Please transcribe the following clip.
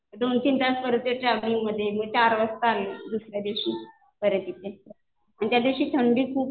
दोन-तीन तास परत त्या ट्रॅव्हलिंगमध्ये. मग चार वाजता आलेलो आम्ही दुसऱ्या दिवशी. आणि त्या दिवशी थंडी खूप